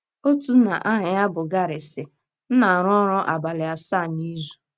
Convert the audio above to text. Otu nna aha ya bụ Gary sịrị: M na - arụ ọrụ abalị asaa n’izu.